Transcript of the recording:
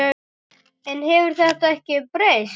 En hefur þetta ekki breyst?